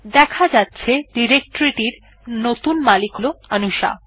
দেখা যাচ্ছে ডিরেকটরি এর নতুন মালিক অনুশা